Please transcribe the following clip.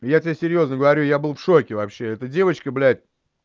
я тебе серьёзно говорю я был в шоке вообще эта девочка блядь